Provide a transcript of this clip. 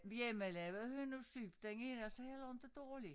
Hjemmelavet hønnusyp den er altså heller inte dårlig